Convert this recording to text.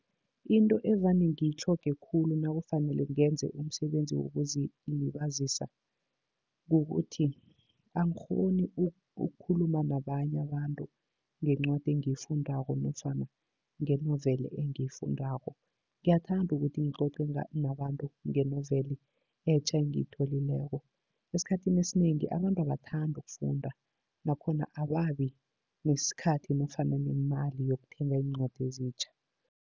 Into evane ngiyitlhoge khulu nakufanele ngenze umsebenzi wokuzilibazisa, kukuthi angikghoni ukukhuluma nabanye abantu ngencwadi engiyifundako nofana ngenoveli engiyifundako. Ngiyathanda ukuthi ngicoce nabantu ngenoveli etja engiyitholileko. Esikhathini esinengi abantu abathandi ukufunda, nakhona ababi nesikhathi nofana nemali yokuthenga iincwadi ezitjha.